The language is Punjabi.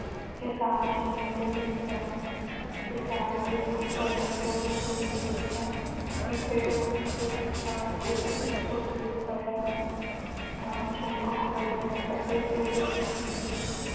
ਕਿਸਾਨ ਜ਼ਮੀਨ ਤੇ ਡਿੱਗ ਪਿਆ। ਕਿਸਾਨ ਦੇ ਨੇ ਜਦੋਂ ਇਹ ਦੇਖਿਆ ਕਿ ਭੇਡੂ ਥੱਲੇ ਸੁੱਟ ਦਿੱਤਾ ਹੈ ਤਾਂ ਚੁਮਬਕ ਫੜਿਆ ਅਤੇ ਭੇਡੂ ਦੀ ਚੰਗੀ